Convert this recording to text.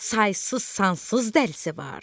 saysız-sansız dəlisi var.